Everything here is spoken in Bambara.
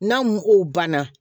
N'a mugu banna